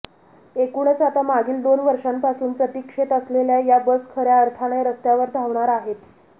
एकूणच आता मागील दोन वर्षांपासून प्रतीक्षेत असलेल्या या बस खऱ्या अर्थाने रस्त्यावर धावणार आहेत